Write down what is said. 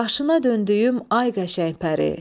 Başına döndüyüm ay qəşəng pəri,